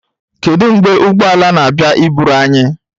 Kedu mgbe ụgbọ ala na-abịa iburu anyị?